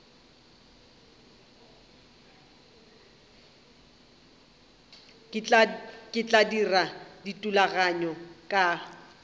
ke tla dira dithulaganyo ka